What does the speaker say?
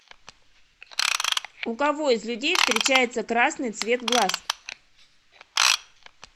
у кого из людей встречается красный цвет глаз